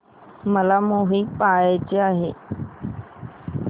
मला मूवी पहायचा आहे